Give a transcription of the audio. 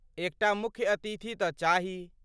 एकटा मुख्य अतिथि तँ चाही।